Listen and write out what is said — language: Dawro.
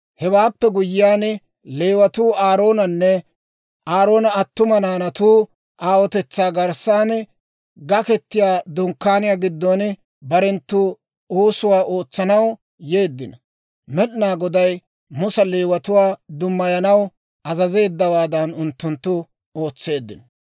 Hewaappe guyyiyaan, Leewatuu Aaroonanne Aaroona attuma naanatu aawotetsaa garssan, Gaketiyaa Dunkkaaniyaa giddon barenttu oosuwaa ootsanaw yeeddino. Med'inaa Goday Musa Leewatuwaa dummayanaw azazeeddawaadan unttunttu ootseeddino.